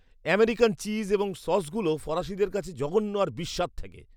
American cheese এবং সসগুলো ফরাসিদের কাছে জঘন্য আর বিস্বাদ ঠেকে।